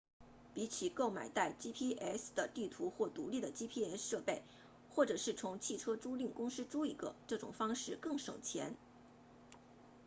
比起够买带 gps 的地图或独立的 gps 设备或者是从汽车租赁公司租一个这种方式更省钱